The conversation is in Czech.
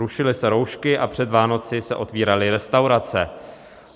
Rušily se roušky a před Vánoci se otvíraly restaurace.